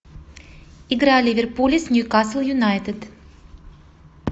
игра ливерпуля с ньюкасл юнайтед